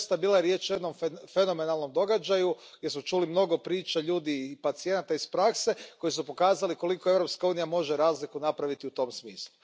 I doista, bila je riječ o jednom fenomenalnom događaju gdje smo čuli mnogo priča ljudi i pacijenata iz prakse koji su pokazali koliko Europska unija može razliku napraviti u tom smislu.